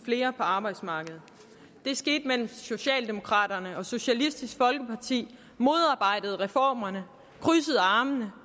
flere på arbejdsmarkedet det skete mens socialdemokraterne og socialistisk folkeparti modarbejdede reformerne og krydsede armene